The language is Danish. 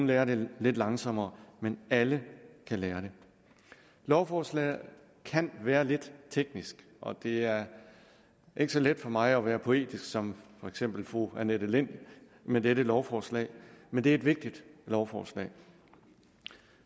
lærer det lidt langsommere men alle kan lære det lovforslaget kan være lidt teknisk og det er ikke så let for mig at være poetisk som for eksempel fru annette lind med dette lovforslag men det er et vigtigt lovforslag